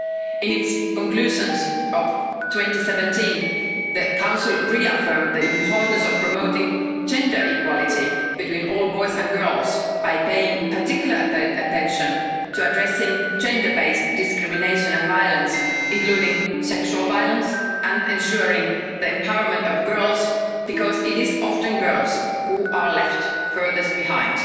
In its conclusions of 2017 the Council reaffirmed the importance of promoting gender equality between all boys and girls by paying particular attention to addressing gender-based discrimination and violence, including sexual violence and ensuring the empowerment of girls, because it is often girls who are left furthest behind.